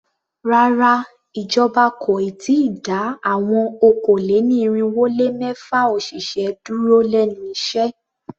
Rárá, ìjọba kò ì tíì dá àwọn okòó-lé-ní-irínwó-lé-mẹ́fà òṣìṣẹ́ dúró lénu iṣẹ́.